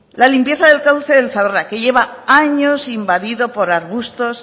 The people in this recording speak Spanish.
la limpieza del cauce del zadorra que lleva años invadido por arbustos